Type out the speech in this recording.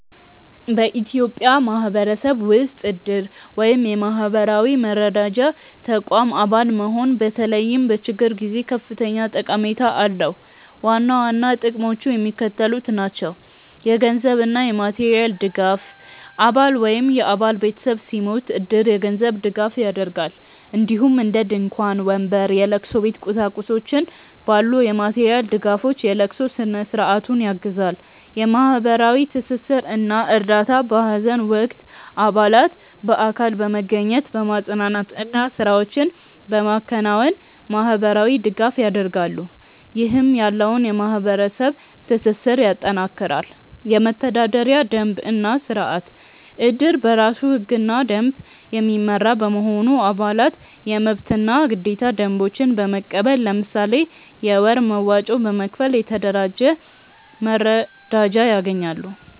በኢትዮጵያ ማህበረሰብ ውስጥ እድር (የማህበራዊ መረዳጃ ተቋም) አባል መሆን በተለይም በችግር ጊዜ ከፍተኛ ጠቀሜታ አለው። ዋና ዋና ጥቅሞቹ የሚከተሉት ናቸው - የገንዘብ እና የማቴሪያል ድጋፍ: አባል ወይም የአባል ቤተሰብ ሲሞት እድር የገንዘብ ድጋፍ ያደርጋል፣ እንዲሁም እንደ ድንኳን፣ ወንበር፣ የለቅሶ ቤት ቁሳቁሶች ባሉ የማቴሪያል ድጋፎች የለቅሶ ስነ-ስርዓቱን ያግዛል። የማህበራዊ ትስስር እና እርዳታ: በሀዘን ወቅት አባላት በአካል በመገኘት፣ በማፅናናት እና ስራዎችን በማከናወን ማህበራዊ ድጋፍ ያደርጋሉ፣ ይህም ያለውን የማህበረሰብ ትስስር ያጠናክራል። የመተዳደሪያ ደንብ እና ስርአት: እድር በራሱ ህግና ደንብ የሚመራ በመሆኑ፣ አባላት የመብትና ግዴታ ደንቦችን በመቀበል፣ ለምሳሌ የወር መዋጮ በመክፈል፣ የተደራጀ መረዳጃ ያገኛሉ።